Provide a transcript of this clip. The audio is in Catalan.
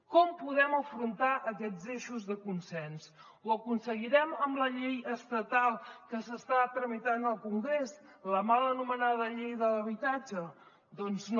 com podem afrontar aquests eixos de consens ho aconseguirem amb la llei estatal que s’està tramitant al congrés la mal anomenada llei de l’habitatge doncs no